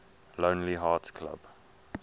lonely hearts club